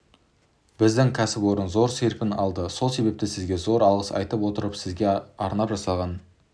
біздің кәсіпорын зор серпін алды сол себепті сізге зор алғыс айта отырып сізге арнап жасаған